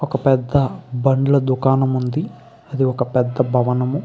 ఒక పెద్ద బండ్ల దుకాణం ఉంది . అది ఒక పెద్ద భవనము.